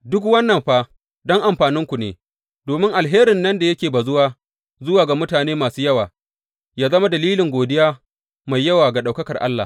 Duk wannan fa don amfaninku ne, domin alherin nan da yake bazuwa zuwa ga mutane masu yawa, yă zama dalilin godiya mai yawa ga ɗaukakar Allah.